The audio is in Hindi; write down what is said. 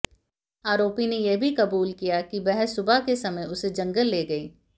आरोपी ने यह भी कबूल किया कि बह सुबह के समय उसे जंगल ले गई